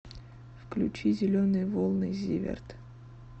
включи зеленые волны зиверт